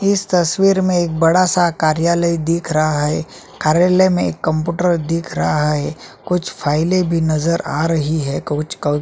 इस तस्वीर में एक बड़ा सा कार्यालय दिख रहा है कार्यालय में एक कंप्यूटर दिख रहा है कुछ फाइले भी नज़र आ रही है कुछ--